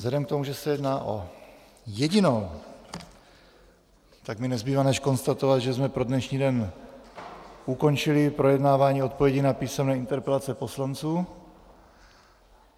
Vzhledem k tomu, že se jedná o jedinou, tak mi nezbývá než konstatovat, že jsme pro dnešní den ukončili projednávání odpovědí na písemné interpelace poslanců.